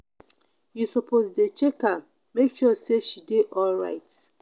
you suppose dey check am make sure sey she dey alright.